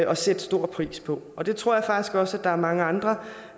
og sætte stor pris på og det tror jeg faktisk også der er mange andre